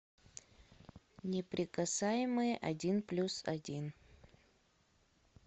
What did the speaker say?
неприкасаемые один плюс один